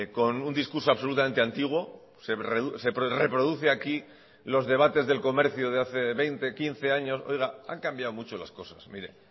con un discurso absolutamente antiguo se reproduce aquí los debates del comercio de hace veinte quince años oiga han cambiado mucho las cosas mire